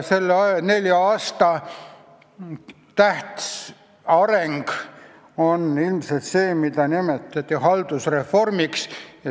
Selle nelja aasta tähtsaim areng on ilmselt see, mida on nimetatud haldusreformiks.